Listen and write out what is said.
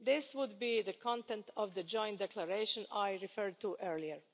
This would be the content of the joint declaration I referred to earlier.